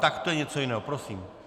Tak to je něco jiného, prosím.